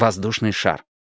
воздушный шар